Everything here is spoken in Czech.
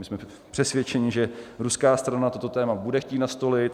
My jsme přesvědčeni, že ruská strana toto téma bude chtít nastolit.